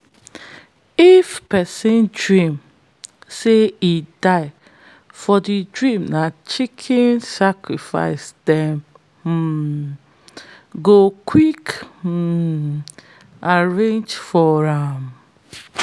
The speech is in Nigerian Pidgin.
if person dream say e die for the dream na chicken sacrifice dem um go quick um arrange for am.